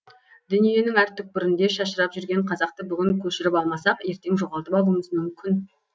дүниенің әр түкпірінде шашырап жүрген қазақты бүгін көшіріп алмасақ ертең жоғалтып алуымыз мүмкін